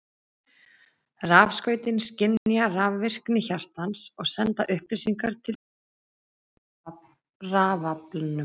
Rafskautin skynja rafvirkni hjartans og senda upplýsingar til tölvunnar í rafalnum.